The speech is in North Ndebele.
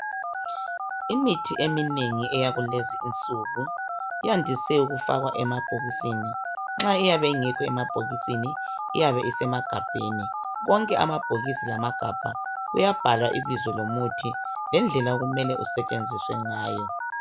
Imithi eminengi eyakulezi insuku yandise ukufakwa emabhokisini. Nxa iyabe ingekho emabhokisini, iyabe isemagabheni. Konke amabhokisi lamagabha kuyabhalwa ibizo lomuthi lendlela okumele kusetshenziswa ngayo.